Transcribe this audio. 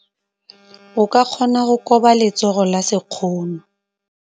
O ka kgona go koba letsogo ka sekgono.